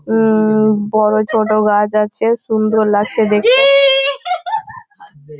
ও ও বড়ো সরো গাছ আছে সুন্দর লাগছে দেখতে।